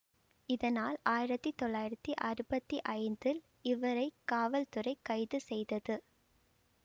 இதனால் ஆயிரத்தி தொள்ளாயிரத்தி அறுபத்தி ஐந்தில் இவரை காவல்துறை கைது செய்தது